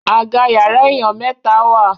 Àga yàrá èyán mẹta wá.